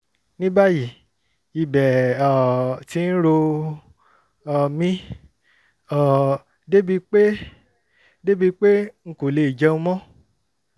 ní báyìí ibẹ̀ um ti ń ro um mí um débi pé débi pé n kò lè jẹun mọ́